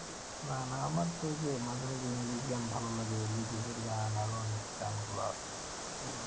না না আমার তো ওই যে মাঝে মাঝে ইংরেজি গান ভালো লাগে এর গান আরো অনেক গান গুলো আছে